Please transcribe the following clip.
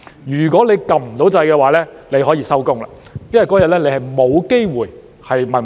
如果按不到掣，那便可以下班，因為當天不會有機會提問。